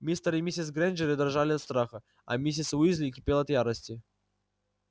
мистер и миссис грэйнджеры дрожали от страха а миссис уизли кипела от ярости